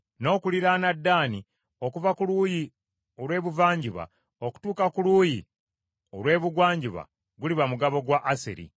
N’okuliraana Ddaani okuva ku luuyi olw’ebuvanjuba okutuuka ku luuyi olw’ebugwanjuba guliba mugabo gwa Aseri.